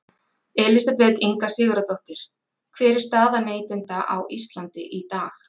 Elísabet Inga Sigurðardóttir: Hver er staða neytenda á Íslandi í dag?